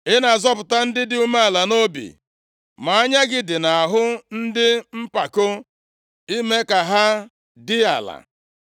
Ị na-azọpụta ndị dị umeala nʼobi, ma anya gị dị nʼahụ ndị mpako, I mee ka ha dị ala.